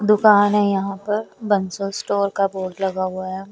दुकान है यहां पर बंसल स्टोर का बोर्ड लगा हुआ है।